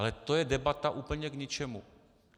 Ale to je debata úplně k ničemu.